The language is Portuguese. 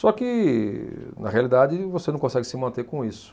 Só que, na realidade, você não consegue se manter com isso.